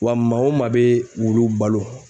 Wa maa o maa bɛ wulu balo